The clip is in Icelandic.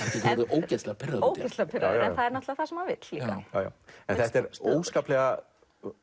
ógeðslega pirraður ógeðslega pirraður en það er það sem hann vill líka þetta er óskaplega